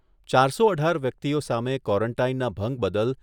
ચારસો અઢાર વ્યક્તિઓ સામે ક્વોરોન્ટાઇનના ભંગ બદલ